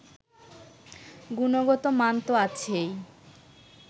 গুণগতমান তো আছেই